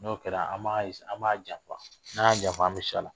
N'o kɛra an b'a janfa n'a y'a janfa an bɛ se a la